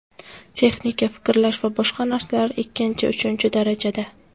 Texnika, fikrlash va boshqa narsalar ikkinchi, uchinchi darajada.